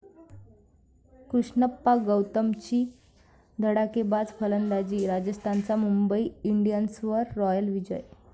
कृष्णप्पा गौतमची धडाकेबाज फलंदाजी, राजस्थानचा मुंबई इंडियन्सवर 'रॉयल विजय'